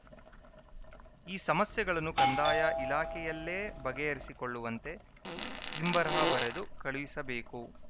ಈ ಸಮಸ್ಯೆಗಳನ್ನು ಕಂದಾಯ ಇಲಾಖೆಯಲ್ಲೇ ಬಗೆಹರಿಸಿಕೊಳ್ಳುವಂತೆ ಹಿಂಬರಹ ಬರೆದು ಕಳುಹಿಸಬೇಕು